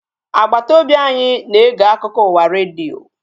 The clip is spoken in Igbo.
Agbata obi anyị na-ege akụkọ ụwa redio